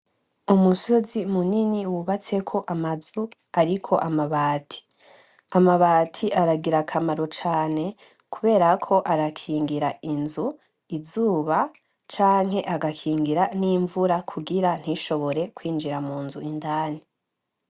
Umusozi munini w'ubatseko amazu ariko amabati, amabati aragira akamaro cane kubera ko arakingira inzu izuba canke agakingira n'imvura kugira ntishobore kwinjira munzu indani.